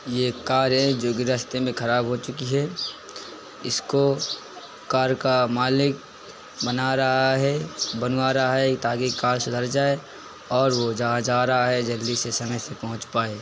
ये कार है जो कि रास्ते में खराब हो चुकी है। इसको कार का मालिक बना रहा है बनवा रहा है ताकि कार सुधर जाए और वह जहाँ जा रहा है जल्दी से समय से पहुंच पाए।